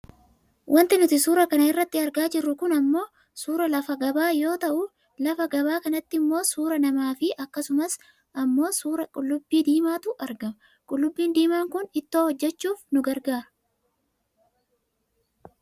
Wanti nuti suura kana irratti argaa jirru kun ammoo suuraa lafa gabaa yoo ta'u lafa gabaa kanattimmoo suuraa namaafi akkasumas ammoo suuraa qullubbii diimaatu argama . Qullubbii diimaa kun ittoo hojjachuuf nu gargaara.